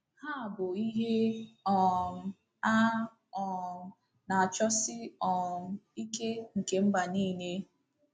Ha bụ “ ihe um a um na-achọsi um ike nke mba niile. ”